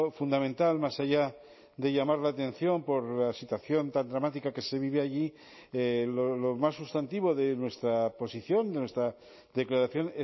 fundamental más allá de llamar la atención por la situación tan dramática que se vive allí lo más sustantivo de nuestra posición de nuestra declaración